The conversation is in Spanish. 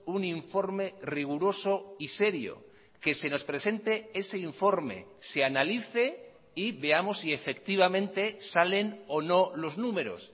un informe riguroso y serio que se nos presente ese informe se analice y veamos si efectivamente salen o no los números